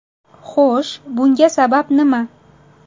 Xo‘sh, bunga sabab nima?